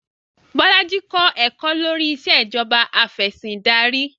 Bolaji kọ̀ ẹ̀kọ́ lórí Ìṣèjọba Afẹ̀sìndarí